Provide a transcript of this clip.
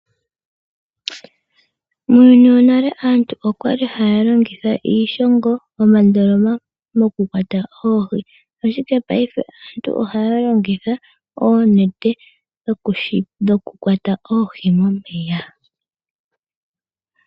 Muuyuni wo nale aantu okwali haya longitha iishongo nomandoloma okukwata oohi ashike mongaashingeyi aantu ohaya longitha oonete dhokukwata oohi momeya.